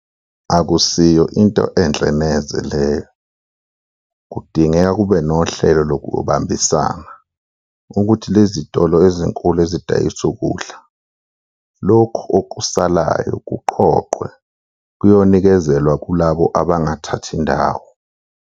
Akusiyo into enhle neze leyo, kudingeka kube nohlelo lokubambisana ukuthi lezitolo ezinkulu ezidayisa ukudla, lokhu okusalayo kuqoqwe kuyonikezelwa kulabo abangathathi ndawo.